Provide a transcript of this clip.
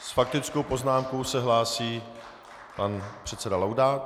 S faktickou poznámkou se hlásí pan předseda Laudát.